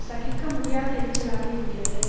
சகிக்க முடியாத எரிச்சலாக இருக்கிறது